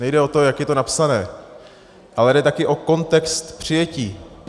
Nejde o to, jak je to napsané, ale jde taky o kontext přijetí.